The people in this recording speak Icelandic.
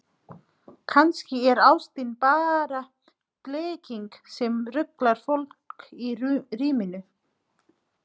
Kannski er ástin bara blekking sem ruglar fólk í ríminu.